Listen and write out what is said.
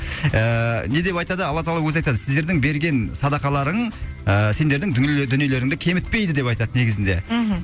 ііі не деп айтады алла тағала өзі айтады сіздердің берген садақаларың ыыыф сендердің дүниелеріңді кемітпейді деп айтады негізінде мхм